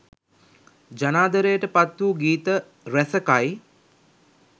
ජනාදරයට පත්වූ ගීත රැසකයි